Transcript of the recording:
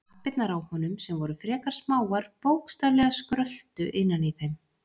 Lappirnar á honum, sem voru frekar smáar, bókstaflega skröltu innan í þeim.